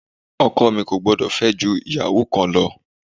Ọkọ mi kò gbúdọ̀ fẹ́ ju ìyàwó kan lọ.